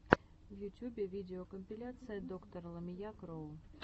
в ютюбе видеокомпиляция доктор ламия кроу